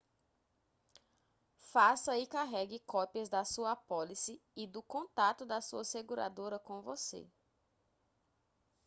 faça e carregue cópias da sua apólice e do contato da sua seguradora com você